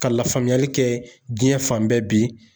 Ka lafaamuyali kɛ diɲɛ fan bɛɛ bi